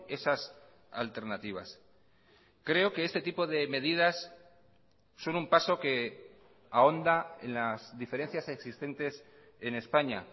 esas alternativas creo que este tipo de medidas son un paso que ahonda en las diferencias existentes en españa